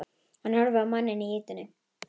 Hann horfir á manninn í ýtunni.